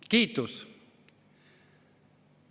Kiitus!